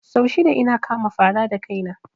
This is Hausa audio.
Sau shida ina kama fara da kaina